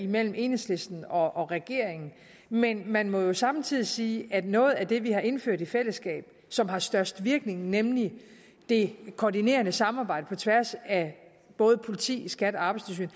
mellem enhedslisten og og regeringen men man må samtidig sige at noget af det vi har indført i fællesskab og som har størst virkning nemlig det koordinerende samarbejde på tværs af både politiet skat og arbejdstilsynet